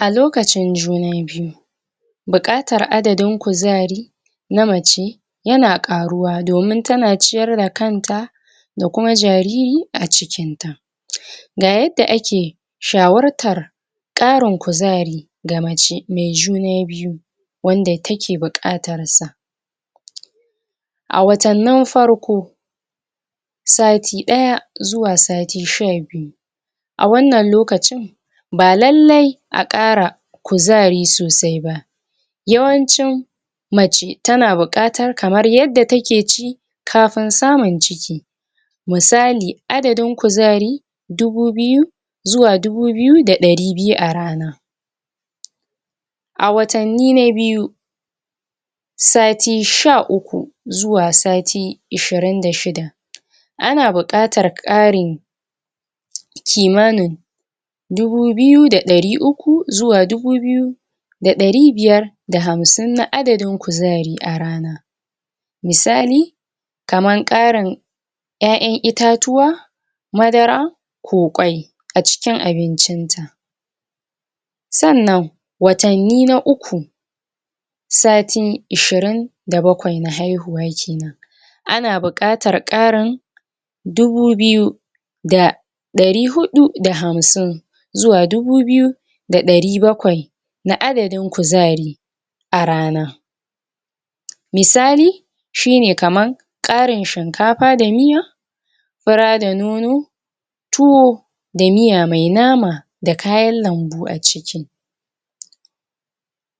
lokacin juna biyu buƙatar adadin kuzari namace yan ƙaruwa domin tana ciyar da kanta da kuma ja riri acikinta ga yadda ake shawartar ƙarin kuzari ga mace mai juna biyu wanda take buƙatarsa a watannin farko sati ɗaya zuwa sati sha biyu a wannan lokacin ba lallai a ƙara kuzari sosaiba yawancin mace tana buƙatar kamar yadda take ci kafin samu ciki misali adadin kuzari dubu biyu zuwa dubu biyu da ɗari biyu a rana a watanni na biyu sati sha uku zuwa sati ishshirin da shida ana buƙatar ƙarin ki manin dubu biyu da ɗari uku zuwa dubu biyu da ɗari biyar da hamsim na adadin kuzari arana misali kaman ƙarin ƴaƴan ita tuwa madara ko kwai acikin abincin ta sannan watanni na uku satin ishirin da bakwai na haihuwa kenan ana buƙatar ƙarin dubu biyu da ɗari huɗu da hamsim zuwa dubu biyu da ɗari bakwai na adadin kuzari arana misali shine kaman ƙarin shinkafa da miya fura da nono tuwo da miya me nama da kayan lambu aciki